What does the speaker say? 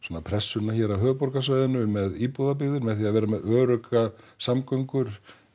pressuna hér á höfuðborgarsvæðinu með með því að vera með öruggar samgöngur